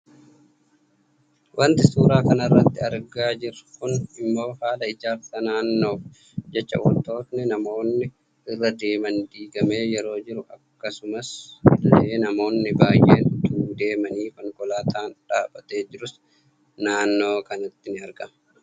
Waanti suuraa kanarratti argaa jiru kun immoo haala ijaarsa naannoof jecha waantonni namoonni irra deeman diigame yeroo jiru akkasuma illee namoonni baayeen utuu deemanii, konkolaataan dhaabbatee jiruus naannoo kanatti ni argama.